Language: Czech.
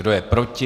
Kdo je proti?